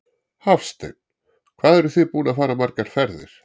Hafsteinn: Hvað eruð þið búin að fara margar ferðir?